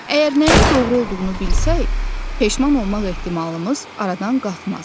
Əgər nəyin doğru olduğunu bilsək, peşman olmaq ehtimalımız aradan qalxmaz.